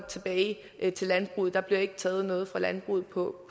tilbage til landbruget der bliver ikke taget noget fra landbruget på